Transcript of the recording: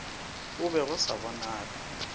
go be go sa bonale